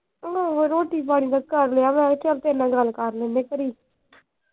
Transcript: ਆਹੋ ਰੋਟੀ ਪਾਣੀ ਦਾ ਕਰਲਿਆ ਵਾ ਚਲ ਤੇਰੇ ਨਾਲ ਗੱਲ ਕਰ ਲੈਂਦੇ ਘੜੀ।